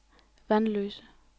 Vanløse